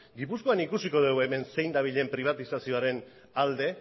gipuzkoan ikusiko dugu hemen zein dabilen pribatizazioaren alde